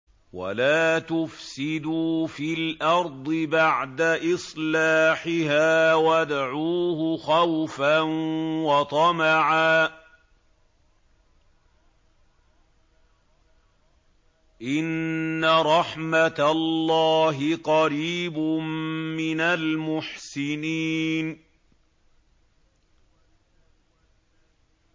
وَلَا تُفْسِدُوا فِي الْأَرْضِ بَعْدَ إِصْلَاحِهَا وَادْعُوهُ خَوْفًا وَطَمَعًا ۚ إِنَّ رَحْمَتَ اللَّهِ قَرِيبٌ مِّنَ الْمُحْسِنِينَ